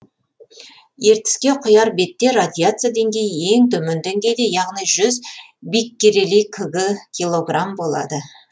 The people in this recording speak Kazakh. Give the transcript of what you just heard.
ертіске құяр бетте радиация деңгейі ең төмен деңгейде яғни жүз биккерели кг килограмм болады